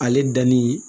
Ale danni